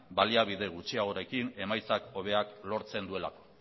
baliabide gutxiagorekin emaitza hobeak lortzen duelako